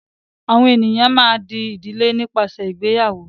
àwọn ènìyàn a má a dí ìdílé nípasẹ ìgbéyàwó.